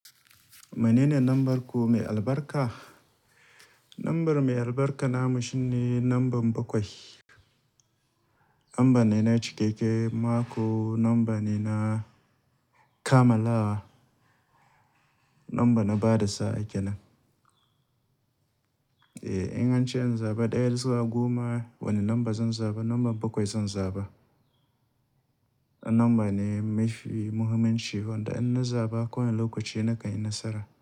Mene ne lambar ku mai albarka? Lambar mai albarka namu shine lamba bakwai. Lamba ne na cikakke, mako, lamba ne na kammalawa, lamba na bada sa'a kenan. Eh, in ance in zaɓa ɗaya daga goma, wane lamba zan zaɓa? Lambar bakwai zan zaɓa. Na lamba ne mafi muhimmanci, wanda inna zaɓa kowane lokaci nakanyi nasara.